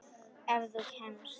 Ef þú kemst?